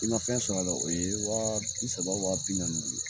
I ma fɛn sɔrɔ a la o ye wa bi saba wa bi naani ye